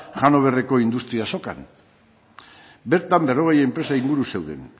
hannoverreko industria azokan bertan berrogei enpresa inguru zeuden